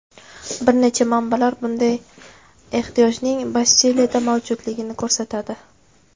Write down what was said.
Bir necha manbalar bunday ehtiyojning Bastiliyada mavjudligini ko‘rsatadi.